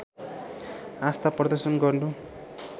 आस्था प्रदर्शन गर्नु